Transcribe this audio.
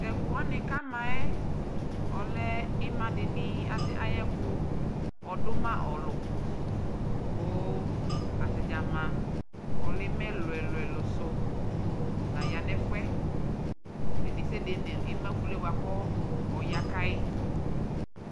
Tɛkuwani kamayɛ ɔlɛɛ ima dini ayɛku ɔduma ɔɔlu kuuataɖʒa ma Ɔlɛ ima ɛluɛluɛlu sula ya nɛfuɛ, edesiade nɔ imkulue bua kɔya kayi